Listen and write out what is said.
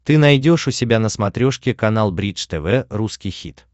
ты найдешь у себя на смотрешке канал бридж тв русский хит